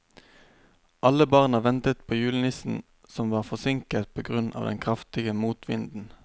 Alle barna ventet på julenissen, som var forsinket på grunn av den kraftige motvinden.